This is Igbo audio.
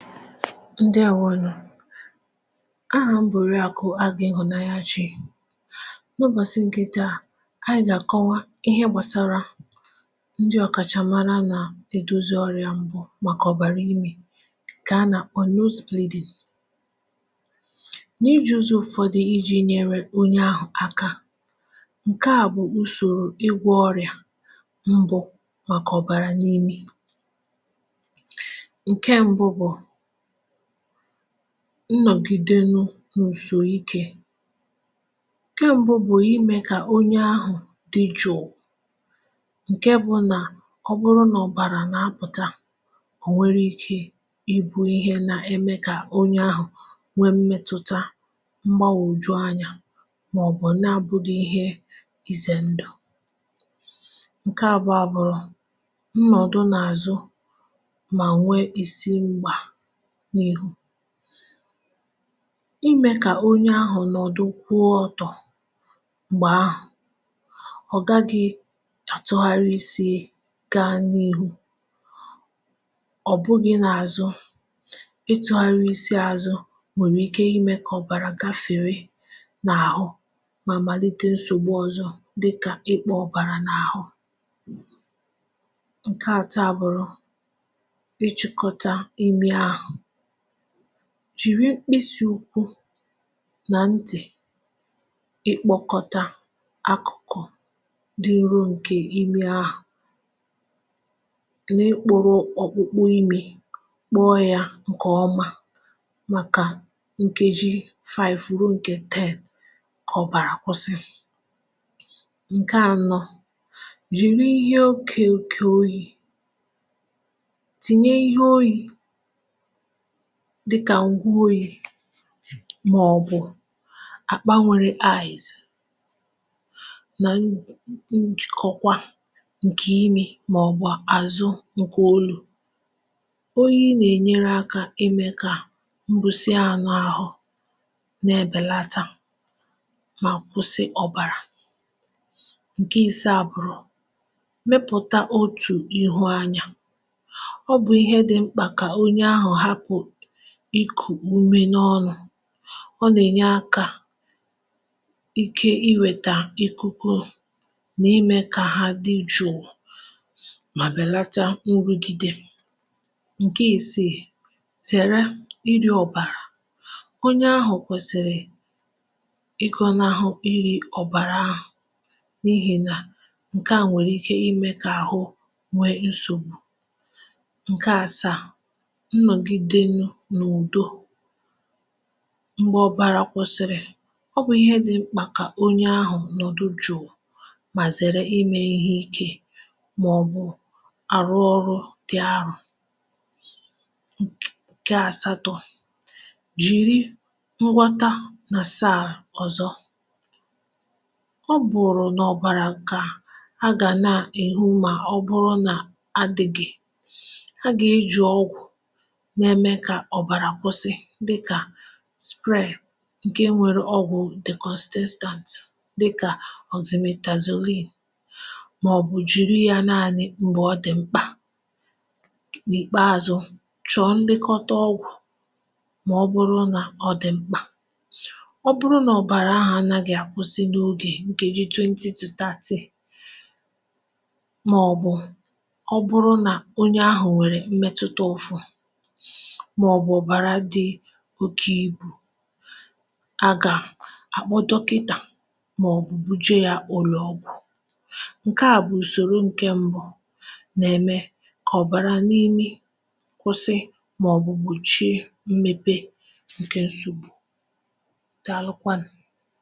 Ndewọnụ. Aham bụ orịakụ Agụ ihụanyachi. Na ubọsị̀ nke taa, anyị ga-akọwa ihe gbasara ndị ọ̀kachamara na-edọzi ọrịa mbụ gbakọ̀bara ime nke a na kpọ nose bleeding. N’iji ụzọ ụfọdụ iji nyere ọnye ahụ̀ aka nke a bụ̀ ụsọ̀rọ̀ ịgwọ̀ ọrịa mbụ maka ọ̀bara n’imi. Nke mbụ bụ nnọ̀gidenụ n’ùsọike. Nke mbụ bụ̀ ime ka ọnye ahụ̀ dị jụ̀ụ̀. Nke bụ na ọ bụrụ na ọ̀bara na-apụ̀ta ọ̀ nwere ike ị bụ ihe na-eme ka ọnye ahụ̀ nwee mmẹtụta mgbagwọjụ anya maọbụ̇ na-abụghị ihe ize ndụ̀. Nke abụọ abụrụ, nnọdụ n'azụ ma nwee isi nà ihu. Ịmẹ ka ọnye ahụ̀ nọ̀dụ kwụọ ọtọ mgbe ahụ̀, ọ gaghị atụgharị isi gaa n’ihụ. ọ bụghị na-azụ ịtụgharị isi azụ̀ nwere ike imẹ ka ọ̀bara gafere na-ahụ ma malite nsọ̀gbụ ọzọ̇ dịkȧ ịkpụ ọ̀bara n’ahụ. Nke atọ abụrụ, ichikọta imi ahụ. Jìri mkpịsị ụkwụ na ntị̀ ịkpọkọta akụ̀kụ̀ dị nrọ nke imi ahụ̀ na-ikpọrọ ọkpụkpụ imi kpụọ ya nke ọma maka nkeji five rụọ nke ten ka ọ̀bara kwụsị. Nke anọ jìri ihe ọke ọke ọyi̇ tìnye ihe ọyi̇ dịka ngwụ ọyi maọbụ̇ akpa nwere ice na n njìkọkwa nke imi maọbụ̇ azụ nke ọlu̇. Ọyi na-enyere aka ime ka mbụ̀sịa anụ ahụ na-ebelata ma kwụsị ọ̀bara. Nke ịsaa bụ̀rụ mepụ̀ta ọtù ihụ anya. Ọ bụ ihe dimkpa ka ọnye ahụ hapụ ikụ ụme n’ọnụ, ọ na-enye aka ike iweta ikụkụ na ime ka ha dị jụ̀ụ ma belata nrụgide. Nke isii, zere ịrị ọ̀bara. Ọnye ahụ̀ kwẹ̀sịrị ịgọnaghụ ịrị ọ̀bara ahụ̀ n’ihi na nke nwere ike ime ka ahụ nwee nsọ̀gbụ. Nke asaa nnọgide na ụdọ. Mgbe ọ̀bara kwụsịrị, ọ bụ̀ ihe dị mkpa ka ọnye ahụ̀ nọdụ jụ̀ụ ma zẹ̀rẹ ime ihe ike maọbụ arụ ọrụ dị arụ. Nk Nke asatọ̇, jiri nghọta na saa ọ̀zọ̀. Ọ bụrụ̀ n’ọ̀bara ka a ga na-ehụ ma ọ bụrụ na adịgị. A ga eji ọgwụ na eme ka ọbara kwụsi dịka Spray nke nwere ọgwụ̀ dicọstestant dịka ọximetazọlin maọbụ̀ jiri ya naanị mgbe ọ dị̀ mkpa. N’ikpeazụ chọ̀ọ ndekọta ọgwụ̀ maọbụrụ na ọ dị̀ mkpa. Ọ bụrụ na ọ bara ahụ̀ anagi akwụsị n’ọge nkejị twenty tọ thirty maọbụ̀ ọ bụrụ na ọnye ahụ̀ nwere mmẹtụta ụfụ̇ maọbụ ọbara di ọkė ibù aga, akpọ dọkịta maọbụ̀ bụje ya ụlọ ọgwụ̀. Nke a bụ̀ ụsọrọ nke mbụ na-eme ka ọ̀bara n’imi kwụsị maọbụ̇ gbọchie mmepe nke nsọ̀gbù. Daalụkwanụ̀.